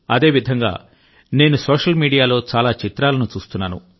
అదేవిధంగా నేను సోషల్ మీడియాలో చాలా చిత్రాలను చూస్తున్నాను